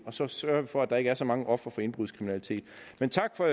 og så sørger vi for at der ikke er så mange ofre for indbrudskriminalitet men tak for